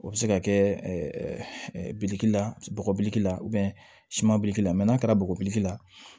O bɛ se ka kɛ biliki la bɔgɔbili la siman bileli la mɛ n'a kɛra bɔgɔbili la